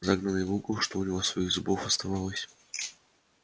загнанный в угол что у него своих зубов оставалось